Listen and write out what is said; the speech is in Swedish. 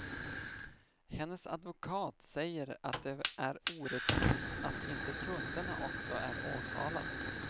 Hennes advokat säger att det är orättvist att inte kunderna också är åtalade.